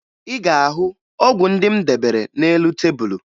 Ị ga-ahụ ọgwụ ndị m debere n'elu tebulu